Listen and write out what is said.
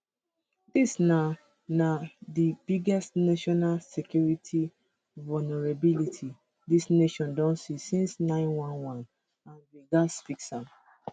dis na na di biggest national security vulnerability dis nation don see since 911 and we gatz fix am